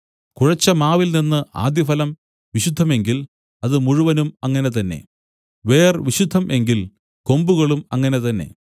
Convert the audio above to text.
കുഴച്ചമാവിൽനിന്ന് ആദ്യഫലം വിശുദ്ധം എങ്കിൽ അത് മുഴുവനും അങ്ങനെ തന്നെ വേർ വിശുദ്ധം എങ്കിൽ കൊമ്പുകളും അങ്ങനെ തന്നെ